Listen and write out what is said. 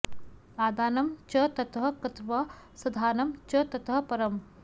आदानं च ततः कृत्वा संधानं च ततः परम्